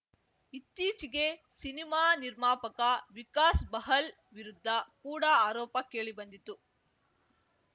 ಇತ್ತೀಚೆಗೆ ಸಿನಿಮಾ ನಿರ್ಮಾಪಕ ವಿಕಾಸ್‌ ಬಹಲ್‌ ವಿರುದ್ಧ ಕೂಡ ಆರೋಪ ಕೇಳಿಬಂದಿತು